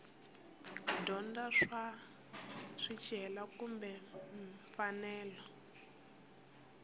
dyondza swa swicelwa kumbe mfanelo